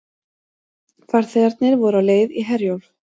Farþegarnir voru á leið í Herjólf